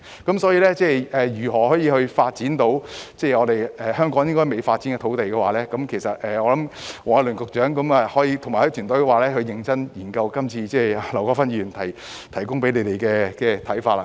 關於如何發展香港尚未發展的土地，我認為黃偉綸局長及其團隊應認真研究今次劉國勳議員向他們提供的想法。